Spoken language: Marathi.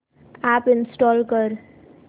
अॅप इंस्टॉल कर